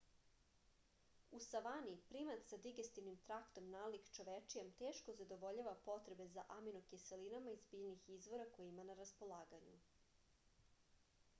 u savani primat sa digestivnim traktom nalik čovečijem teško zadovoljava potrebe za aminokiselinama iz biljnih izvora koje ima na raspolaganju